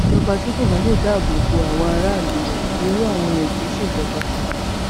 ìjọba tí kò bá lè dáàbò bo àwọn aráàlú rẹ irú àwọn yẹn kì í ṣèjọba